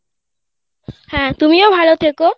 হ্যাঁ তুমিও ভালো থেকো